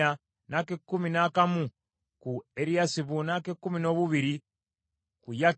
n’ak’ekkumi n’akamu ku Eriyasibu, n’ak’ekkumi noobubiri ku Yakimu,